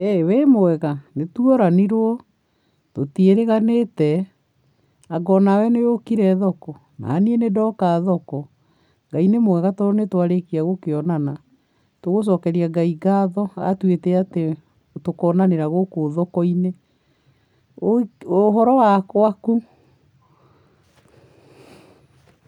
ĩ wĩ mwega? Nĩtworanirwo. Tũtiĩrĩganĩte. Anga onawe nĩ ũkire thoko? Naniĩ nĩ ndoka thoko. Ngai nĩ mwega tondũ nĩ twarĩkia gũkĩonana. Nĩ tũgũcokeria Ngai ngatho, atuĩte atĩ tũkonanĩra gũkũ thoko-inĩ. Ũhoro wa gwaku?